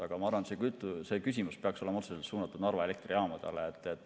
Aga ma arvan, et see küsimus peaks olema suunatud Narva Elektrijaamadele.